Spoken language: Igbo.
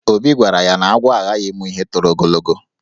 Obi gwara ya na agwọ aghaghị ịmụ ihe toro ogologo.